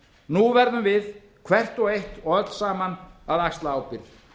nú verðum við hvert og eitt og öll saman að axla ábyrgð